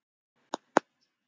Nú er komið að þér.